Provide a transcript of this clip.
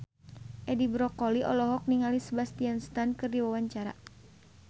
Edi Brokoli olohok ningali Sebastian Stan keur diwawancara